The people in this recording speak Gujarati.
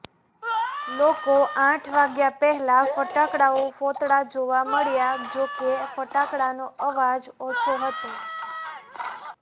લોકો આઠ વાગ્યા પહેલાં ફટાકડાઓ ફોતળા જોવા મળ્યા જો કે ફટાકડાનો અવાજ ઓછો હતો